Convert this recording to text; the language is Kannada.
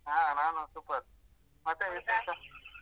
ಹಾ ನಾನು super , ಮತ್ತೆ .